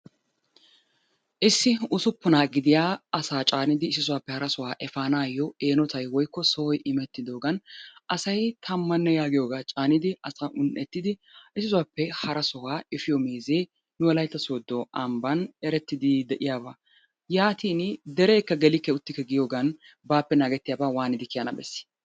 Issi usuppuna gidiya asaa caanidi issisaappe harasaa efaanayo eenotay woykko sohoy imettidogan asay tamanne yagiyoogaa caanidi asaa un'ettidi harasohuwaa efiyoo meezee nu wolaitta sodo amban erettidi de'iyaabaa. Yaatin derekka gelikke uttikke yagiyoogan baappe nasgettiyaabaa waanidi kiyana bessi?